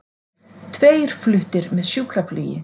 Tveir fluttir með sjúkraflugi